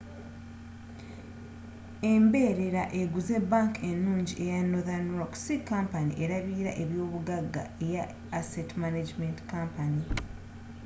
emberera eguze bank enungi eya northern rock si kampani erabirila ebyobugaga eya asset management company